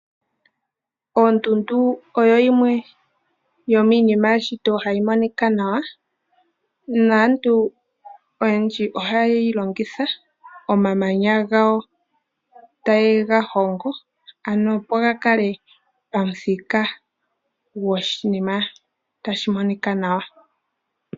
Oondundu oyo yimwe yomiinima yeshito hayi monika nawa, naantu oyendji oha ye yi longitha omamanya gawo taye ga hongo ano opo ga kale pamuthika gwoshinima tashi monika nawa.